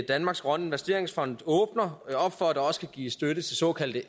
danmarks grønne investeringsfond åbner op for at der også kan gives støtte til såkaldte